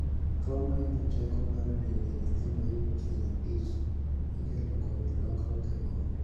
Tuo mahinyo teko mar del e nyithindo tieng' abich ikelo kod lokruok e gund